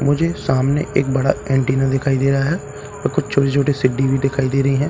मुझे सामने एक बड़ा अंटेना दिखाई दे रहा है और कुछ छोटे छोटे सिड्डी भी दिखाई दे रही है।